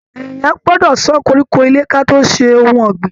Èèyàn gbọdọ sàn koríko ilé kí a tó ṣe ohùn ọ̀gbìn.